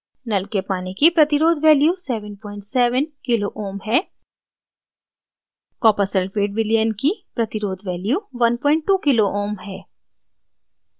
नल के पानी की प्रतिरोध value 77 kohm kilo ohm है कॉपर सल्फ़ेट विलयन की प्रतिरोध value 12 kohm है